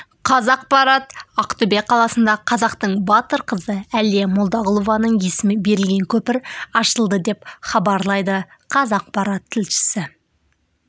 қазақпарат ақтөбе қаласында қазақтың батыр қызы әлия молдағұлованың есімі берілген көпір ашылды деп хабарлайды қазақпарат тілшісі